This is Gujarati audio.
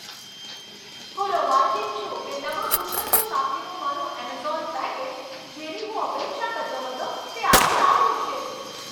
હું રોમાંચિત છું કે નવા પુસ્તકો સાથેનું મારું એમેઝોન પેકેજ, જેની હું અપેક્ષા કરતો હતો, તે આજે આવ્યું છે.